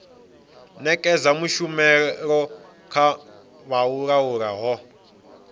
nekedza tshumelo kha vhaaluwa ho